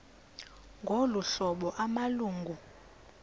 ngolu hlobo amalungu